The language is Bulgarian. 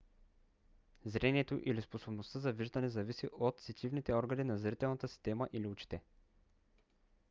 зрението или способността за виждане зависи от сетивните органи на зрителната система или очите